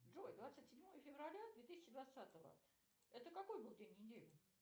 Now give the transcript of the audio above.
джой двадцать седьмое февраля две тысячи двадцатого это какой был день недели